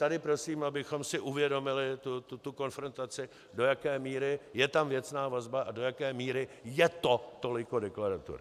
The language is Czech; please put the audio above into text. Tady prosím, abychom si uvědomili tu konfrontaci, do jaké míry je tam věcná vazba a do jaké míry je to toliko deklaratorní.